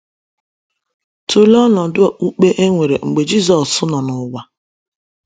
Tụlee ọnọdụ okpukpe e nwere mgbe Jisọs nọ n’ụwa.